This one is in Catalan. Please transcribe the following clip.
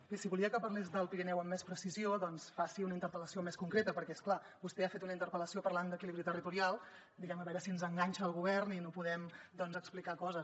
bé si volia que parlés del pirineu amb més precisió doncs faci una interpel·lació més concreta perquè és clar vostè ha fet una interpel·lació parlant d’equilibri territorial diguem ne a veure si ens enganxa al govern i no podem explicar coses